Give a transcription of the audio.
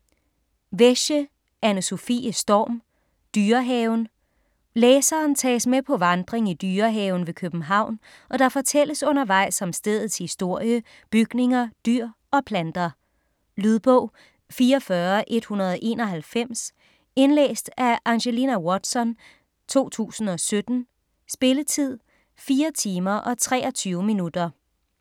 Wesche, Anne-Sofie Storm: Dyrehaven Læseren tages med på vandring i Dyrehaven ved København, og der fortælles undervejs om stedets historie, bygninger, dyr og planter. Lydbog 44191 Indlæst af Angelina Watson, 2017. Spilletid: 4 timer, 23 minutter.